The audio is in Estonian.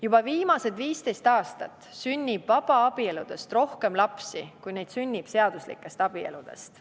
Juba viimased 15 aastat sünnib vabaabieludest rohkem lapsi, kui neid sünnib seaduslikest abieludest.